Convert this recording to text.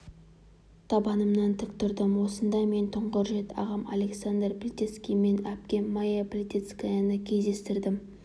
табанымнан тік тұрдым осында мен тұңғыш рет ағам александр плисецкий мен әпкем мая плисецкаяны кездестірдім